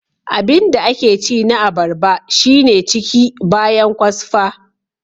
Abinda ake ci na abarba shine ciki bayan kwasfa.